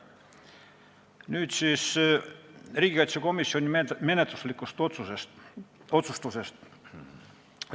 Nüüd riigikaitsekomisjoni menetluslikest otsustest.